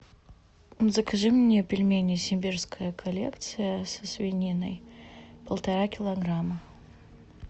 закажи мне пельмени сибирская коллекция со свининой полтора килограмма